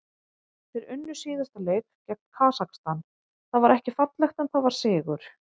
Þeir unnu síðasta leik gegn Kasakstan, það var ekki fallegt en það var sigur.